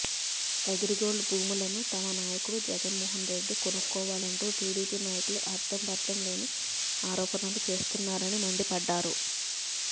అగ్రిగోల్డ్ భూములను తమ నాయకుడు జగన్మోహన్ రెడ్డి కొనుక్కోవాలంటూ టిడిపి నాయకులు అర్థం పర్థం లేని ఆరోపణలు చేస్తున్నారని మండిపడ్డారు